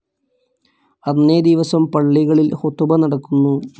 അന്നേ ദിവസം പള്ളികളിൽ ഖുതുബ നടക്കുന്നു.